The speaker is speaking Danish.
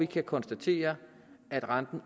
kan konstatere at renten